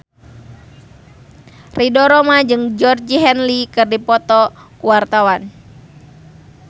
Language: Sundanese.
Ridho Roma jeung Georgie Henley keur dipoto ku wartawan